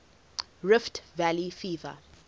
rift valley fever